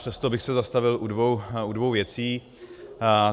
Přesto bych se zastavil u dvou věcí.